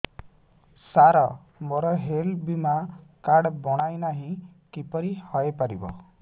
ସାର ମୋର ହେଲ୍ଥ ବୀମା କାର୍ଡ ବଣାଇନାହିଁ କିପରି ହୈ ପାରିବ